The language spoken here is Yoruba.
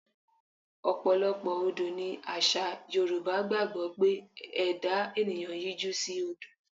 Ọ̀pọ̀lọpọ̀ Odò ní àṣà Yorùbá gbàgbọ́ pé ẹ̀dá ènìyàn yíjú sí odò.